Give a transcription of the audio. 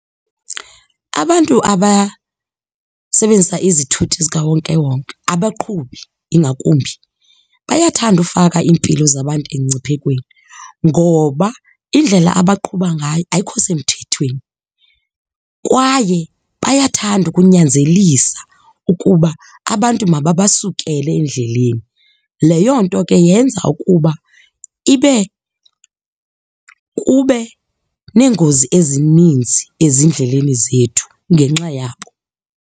Abantu abasebenzisa izithuthi zikawonkewonke, abaqhubi ingakumbi bayathanda ufaka iimpilo zabantu emngciphekweni ngoba indlela abaqhuba ngayo ayikho semthethweni kwaye bayathanda ukunyanzelisa ukuba abantu mababasukele endleleni. Leyo nto ke yenza ukuba ibe, kube neengozi ezininzi ezindleleni zethu ngenxa yabo.